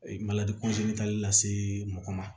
tali la se mɔgɔ ma